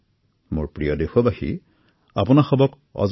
মোৰ মৰমৰ দেশবাসী অশেষ ধন্যবাদ